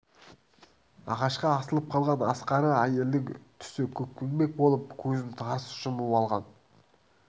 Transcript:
ағашқа асылып қалған ақсары әйелдің түсі көкпеңбек болып көзін тарс жұмып алған